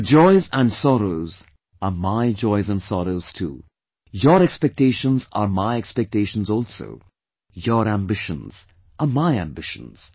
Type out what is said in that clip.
Your joys and sorrows are my joys and sorrows too; your expectations are my expectations also; your ambitions are my ambitions